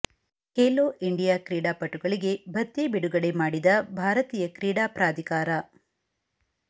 Khelo India ಕ್ರೀಡಾಪಟುಗಳಿಗೆ ಭತ್ಯೆ ಬಿಡುಗಡೆ ಮಾಡಿದ ಭಾರತೀಯ ಕ್ರೀಡಾ ಪ್ರಾಧಿಕಾರ